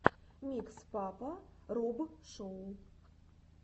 микс папа роб шоу